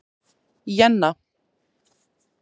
Jenna